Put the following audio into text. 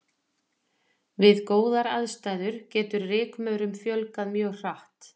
Við góðar aðstæður getur rykmaurum fjölgað mjög hratt.